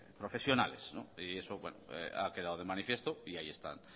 profesionales y eso ha quedado de manifiesto y ahí están